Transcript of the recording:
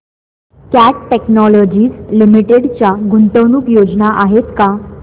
cat Technologies Limited च्या गुंतवणूक योजना आहेत का